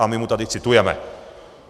A my mu tady citujeme.